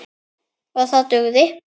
OG ÞAÐ DUGÐI.